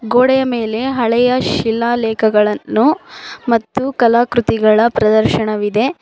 ಗೋಡೆಯ ಮೇಲೆ ಹಳೆ ಶೀಲಾಲೆಕಗಳನ್ನು ಮತ್ತು ಕಲಾಕ್ರತಿಗಳ ಪ್ರದರ್ಶನವಿದೆ.